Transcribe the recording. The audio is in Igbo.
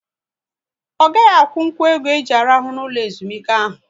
Ọ gaghị akwụnkwụ ego e ji arahu n'ụlọ ezumike ahụ